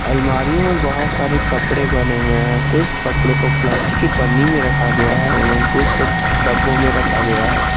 अलमारियों में बहुत सारे कपड़े बने हुए हैं कुछ कपड़ों को प्लास्टिक के पन्नी में रखा गया है एवं कुछ को डब्बों में रखा गया है।